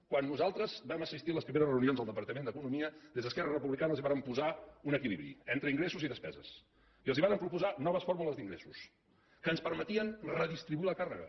quan nosaltres vam assistir a les primeres reunions al departament d’economia des d’esquerra republicana els vàrem posar un equilibri entre ingressos i despeses i els vàrem proposar noves fórmules d’ingressos que ens permetien redistribuir la càrrega